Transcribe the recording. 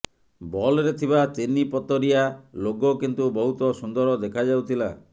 ବଲ୍ରେ ଥିବା ତିନି ପତରିଆ ଲୋଗୋ କିନ୍ତୁ ବହୁତ ସୁନ୍ଦର ଦେଖାଯାଉଥିଲା